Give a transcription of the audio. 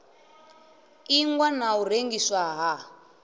ingwa na u rengiswa ha